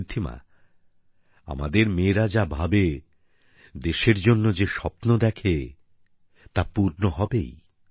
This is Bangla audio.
ঋদ্ধিমা আমাদের মেয়েরা যা ভাবে দেশের জন্য যে স্বপ্ন দেখে তা পূর্ণ হবেই